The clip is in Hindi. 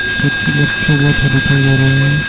बच्चे बच्चे बैठे दिखाई दे रहा है।